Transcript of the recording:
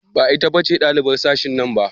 Ba ita ce ɗalibar sashen nan ba?